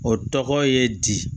O tɔgɔ ye di